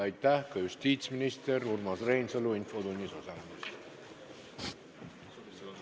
Aitäh ka justiitsminister Urmas Reinsalule infotunnis osalemise eest!